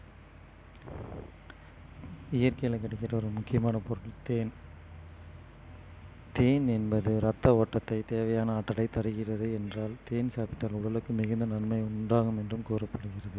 இயற்கையில கிடைக்கிற ஒரு முக்கியமான பொருள் தேன் தேன் என்பது ரத்த ஓட்டத்தை தேவையான ஆற்றலை தருகிறது என்றால் தேன் சாப்பிட்டால் உடலுக்கு மிகுந்த நன்மை உண்டாகும் என்றும் கூறப்படுகிறது